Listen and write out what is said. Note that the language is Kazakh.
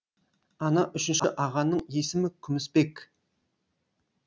ана үшінші ағаның есімі күмісбек